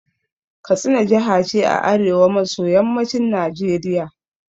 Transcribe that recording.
Katsina jaha ce a arewa maso yammacin Najeriya